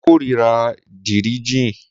Mo kórira díríí jin